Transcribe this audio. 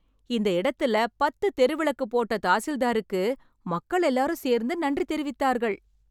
இந்த இடத்துல பத்து தெரு விளக்கு போட்ட தாசில்தாருக்கு மக்கள் எல்லாரும் சேர்ந்து நன்றி தெரிவித்தார்கள்.